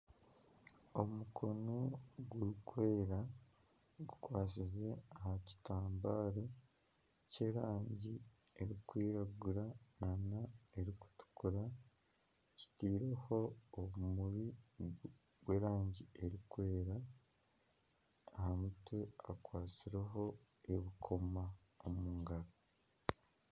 Omukono gurikwera gukwasize aha kitambaare ky'erangi erikwiragura n'erikutukura. Kitairweho obumuri bw'erangi erikwera. Aha mutwe hakwatsireho ebirikukoma omu ngaro.